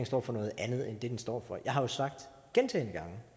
står for noget andet end det den står for jeg har jo sagt gentagne gange